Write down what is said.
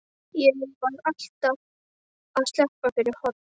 Ég var alltaf að sleppa fyrir horn.